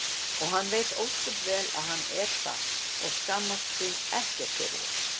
og hann veit ósköp vel að hann er það og skammast sín ekkert fyrir það.